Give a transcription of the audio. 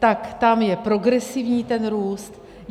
Tak tam je progresivní ten růst.